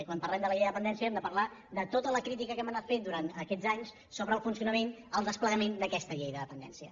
i quan parlem de la llei de dependència hem de parlar de tota la crítica que hem anat fent durant aquests anys sobre el funcionament el desplegament d’aquesta llei de dependència